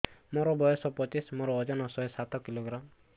ମୋର ବୟସ ପଚିଶି ମୋର ଓଜନ ଶହେ ସାତ କିଲୋଗ୍ରାମ